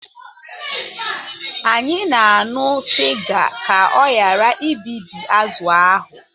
Anyị na-aṅụ sịga ka ọ ghara ibibi azụ̀ ahụ